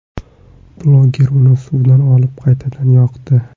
Blogger uni suvdan olib, qaytadan yoqdi.